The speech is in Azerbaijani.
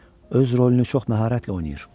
Öz rolunu çox məharətlə oynayır.